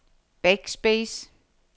backspace